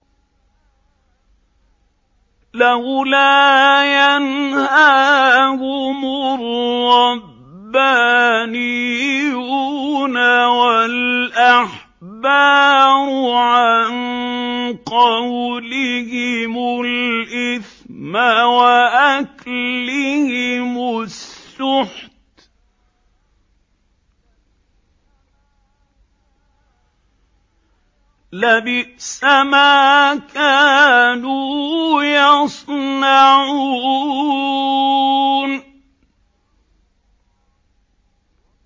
لَوْلَا يَنْهَاهُمُ الرَّبَّانِيُّونَ وَالْأَحْبَارُ عَن قَوْلِهِمُ الْإِثْمَ وَأَكْلِهِمُ السُّحْتَ ۚ لَبِئْسَ مَا كَانُوا يَصْنَعُونَ